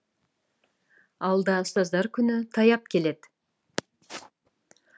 алда ұстаздар күні таяп келеді